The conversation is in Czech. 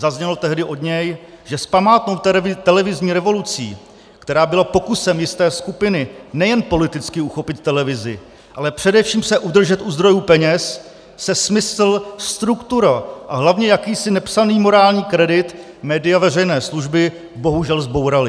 Zaznělo tehdy od něj, že s památnou televizní revolucí, která byla pokusem jisté skupiny nejen politicky uchopit televizi, ale především se udržet u zdrojů peněz, se smysl, struktura a hlavně jakýsi nepsaný morální kredit média veřejné služby bohužel zbouraly.